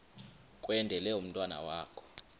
kwendele umntwana wakho